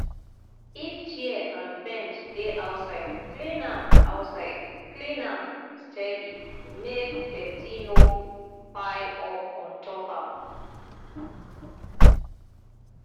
if chair and bench dey outside clean am outside clean am steady make dirty no pile up ontop am